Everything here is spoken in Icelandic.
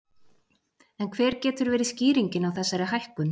En hver getur verið skýringin á þessari hækkun?